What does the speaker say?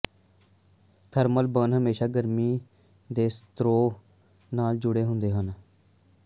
thermal burn ਹਮੇਸ਼ਾ ਗਰਮੀ ਦੇ ਸਰੋਤ ਨਾਲ ਜੁੜੇ ਹੁੰਦੇ ਹਨ